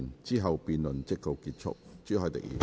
之後辯論即告結束。